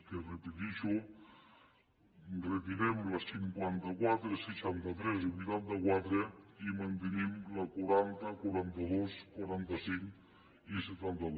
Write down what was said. que ho repeteixo retirem la cinquanta quatre seixanta tres i vuitanta quatre i mantenim la quaranta la quaranta dos quaranta cinc i setanta dos